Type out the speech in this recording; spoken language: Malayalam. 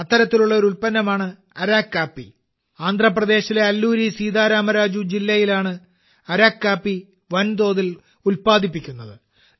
അത്തരത്തിലുള്ള ഒരു ഉൽപ്പന്നമാണ് 'അരക്കു കാപ്പി' ആന്ധ്രാപ്രദേശിലെ അല്ലൂരി സീതാ രാമ രാജു ജില്ലയിലാണ് അരക്കു കാപ്പി വൻതോതിൽ ഉത്പാദിപ്പിക്കുന്നത്